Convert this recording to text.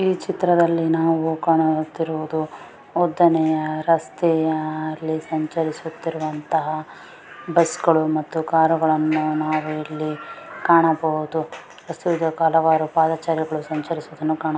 ಈ ಚಿತ್ರದಲ್ಲಿ ನಾವು ಕಾಣುತ್ತಿರುವುದು ಉದ್ದನೆಯ ರಸ್ತೆಯಲ್ಲಿ ಸಂಚರಿಸುತ್ತಿರುವಂತಹ ಬಸ್ಸ್ಗಳು ಮತ್ತು ಕಾರ್ ಗಳನ್ನೂ ನಾವಿಲ್ಲಿ ಕಾಣಬಹುದು ಹಲವಾರು ಪಾದಚಾರಿಗಳು ಸಂಚರಿಸುವುದನ್ನ ಕಾಣ--